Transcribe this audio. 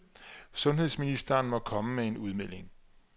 Sundhedsministeren må komme med en udmelding.